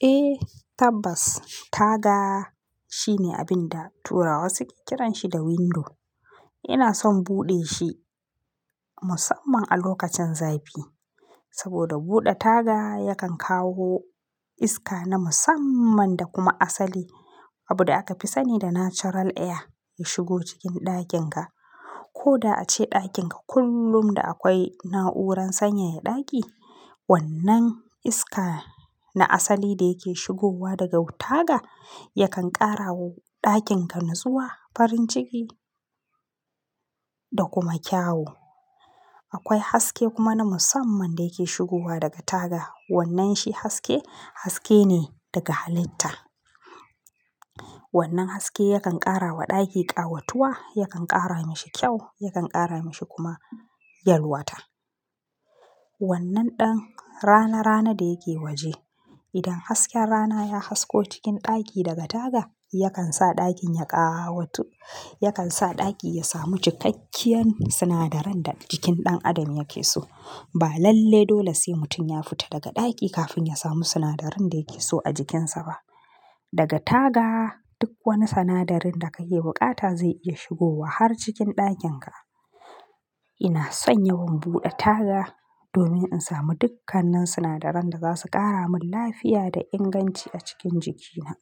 Eh tabbas taga shine abin da turawa suke kiranshi da window. Ina son buɗe shi musamman a lokacin zafi. Saboda buɗe taga yakan kawo iska na musamman da kuma asali. Abu da akafi sani da natural air ya shigo cikin ɗakin ka. Koda ace ɗakin ka kullum da akwai na'uran sanyaya ɗaki. Wannan iska na asali da yake shigowa daga wu taga yakan ƙara wa ɗakin ka natsuwa farin ciki da kuma kyau. Akwai haske kuma na musamman da yake shigowa daga taga. Wannan shi haske, haske ne daga halitta. Wannan haske yakan ƙara wa ɗaki ƙawatuwa, yakan ƙara mishi kyau, yakan ƙara mashi kuma yalwata. Wannan ɗan rana rana da yake waje. Idan hasken rana ya hasko cikin ɗaki daga taga, yakan sa ɗakin ya ƙawatu, yakan sa ɗaki ya samu cikakkiyar sinadaran da jikin ɗan adam yake so. Ba lalle dole sai mutum ya fita daga ɗaki kafin ya samu sinadarin da yake so a jikin sa ba. Daga taga duk wani sinadarin da ka ke buƙata zai iya shigowa har cikin ɗakin ka. Ina son yawan buɗe taga domin in samu dukkanin sinadaran da zasu ƙara min lafiya da inganci a cikin jiki na.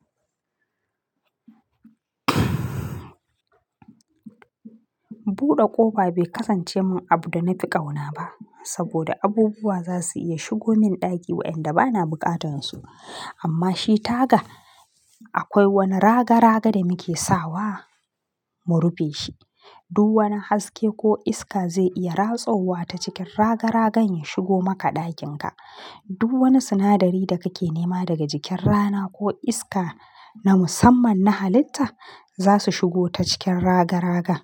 Buɗe ƙofa bai kasance min abu da na fi ƙauna ba. Saboda abubuwa zasu iya shigo min ɗaki wayanda bana buƙatan su. Amma shi taga akwai wani raga raga da muke sawa mu rufe shi. Duk wani haske ko iska zai iya ratsowa ta cikin raga ragan ya shigo maka ɗakin ka. Duk wani sinadari da kake nema daga jikin rana ko iska na musamman na halitta zasu shigo ta cikin raga raga.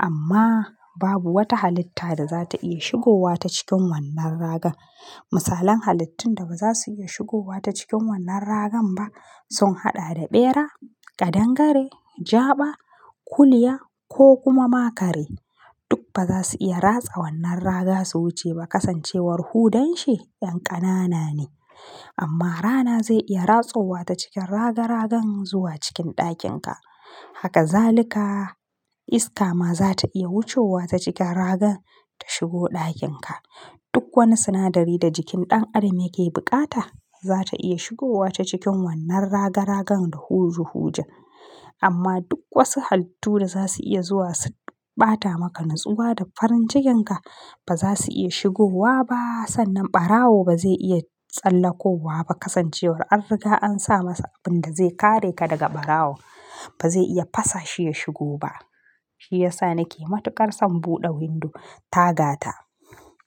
Amma babu wata halitta da za ta iya shigowa ta cikin wannan raga. Misalan halittun da ba za su iya shigowa ta cikin wannan ragan ba sun haɗa da ɓera, ƙadangare, jaba, kuliya ko kuma makare. Duk ba za su iya ratsa wannan raga su wuce ba. Kasancewar hudan shi yan ƙanana ne. Amma rana zai iya ratsowa ta cikin raga-ragan zuwa cikin ɗakin ka. Haka zalika iska ma za ta iya wucowa ta cikin ragan ta shigo ɗakin ka. Duk wani sinadari da jikin ɗan adam yake buƙata za ta iya shigowa ta cikin wannan raga ragan da huju huja. Amma duk wasu halittu da za su iya zuwa su ɓata maka natsuwa da farin jikin ka ba za su iya shigowa ba. Sannan ɓarawo ba zai iya tsallako wa ba kasancewar an riga an sa masa abin da zai kare ka daga ɓarawo. Ba zai iya fasa shi ya shigo ba. Shi yasa nake matuƙar son buɗe window tagata.